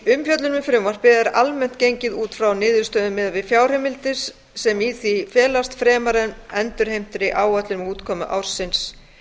um frumvarpið er almennt gengið út frá niðurstöðum miðað við fjárheimildir sem í því felast fremur en endurmetinni áætlun um útkomu ársins